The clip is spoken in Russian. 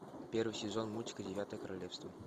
первый сезон мультика девятое королевство